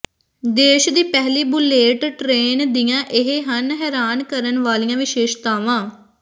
ਦੇਸ਼ ਦੀ ਪਹਿਲੀ ਬੁਲੇਟ ਟ੍ਰੇਨ ਦੀਆਂ ਇਹ ਹਨ ਹੈਰਾਨ ਕਰਨ ਵਾਲੀਆਂ ਵਿਸ਼ੇਸ਼ਤਾਵਾਂ